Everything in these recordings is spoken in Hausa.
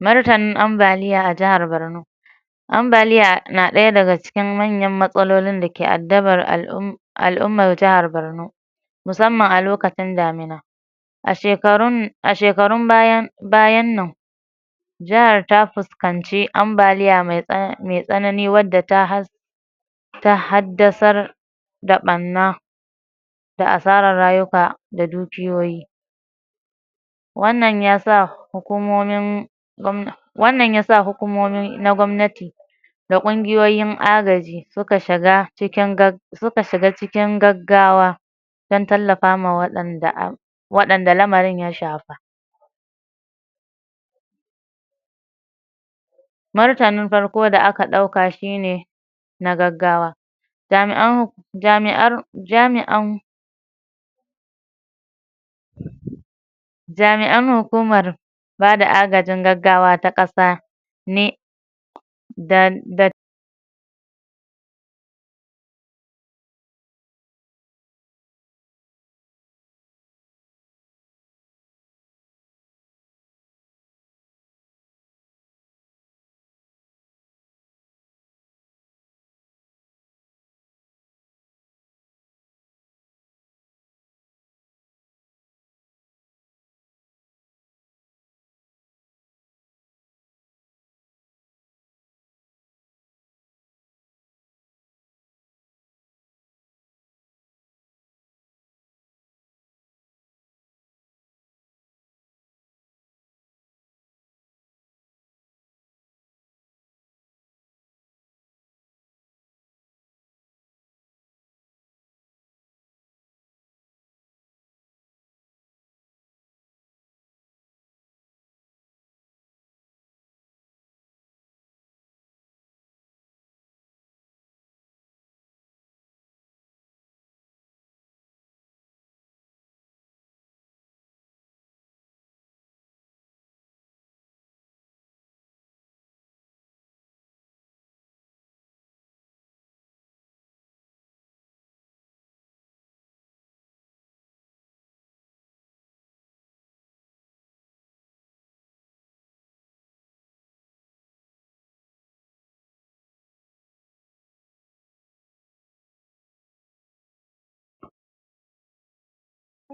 Martanin ambaliya a jahar barno ambaliya na ɗaya daga cikin manyan matsalolin dake addabar al'um al'umma jahar barno musamman a lokacin damina a shekarun a shekarun baya bayan nan jahar ta fus kanci ambaliya mai tsana mai tsanani wadda ta ha ta haddasar da ɓanna da asarar rayuka da dukiyoyi wannan yasa hukumomin gwamna wannan yasa hukumomin na gwamnati da ƙungiyoyin agaji suka shiga cikin gag suka shiga cikin gaggawa dan tallafa ma waɗanda a waɗanda lamarin ya shafa martanin farko da aka ɗauka shi ne na gaggawa jami'an jami'ar jami'an jami'an hukumar bada agajin gaggawa ta ƙasa ne da da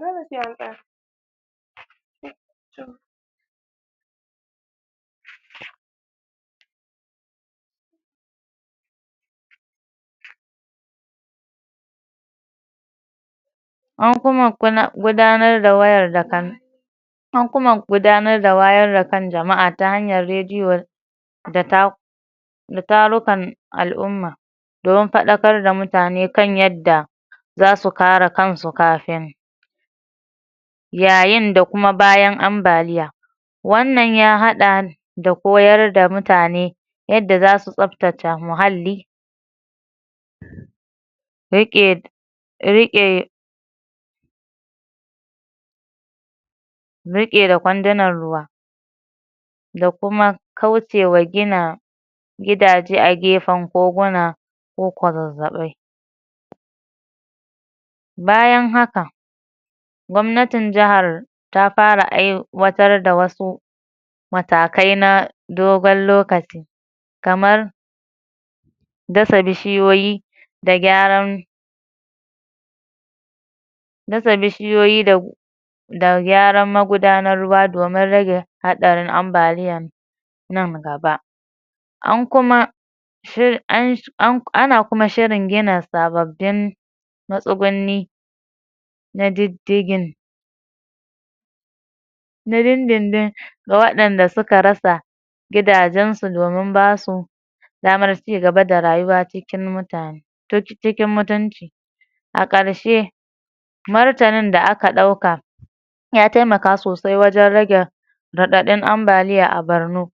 an kuma kuna gudanar da wayar da kan an kuma gudanar da wayar da kan jama'a ta hanyar radiyo da ta da tarukan al'umma domin faɗakar da mutane kan yadda zasu kare kansu kafin yayin da kuma bayan ambaliya wannan ya haɗa da koyar da mutane yadda zasu tsaftace muhalli riƙe riƙe riƙe da kwandunan ruwa da kuma kaucewa gina gidaje a gefen koguna ko kwazazzaɓai bayan haka gwamnatin jahar ta fara ai watar da wasu matakai na dogon lokaci kamar dasa bishiyoyi da gyaran dasa bishiyoyi da da gyaran magudanar ruwa domin rage haɗarin ambaliya nan gaba an kuma an ana kuma shirin gina sababbin ma tsugunni na diddigin na dindin ga waɗanda suka rasa gidajen su domin basu damar cigaba da rayuwa cikin mutane ta ci cikin mutunci a ƙarshe martanin da aka ɗauka ya taimaka sosai wajen rage raɗaɗin ambaliya a barno.